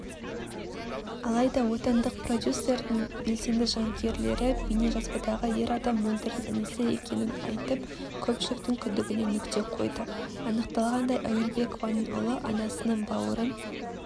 алайда отандық продюсердің белсенді жанкүйерлері бейнежазбадағы ер адам мөлдірдің інісі екенін айтып көпшіліктің күдігіне нүкте қойды анықталғандай әуелбекованың ұлы анасының бауырын